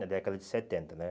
Na década de setenta, né?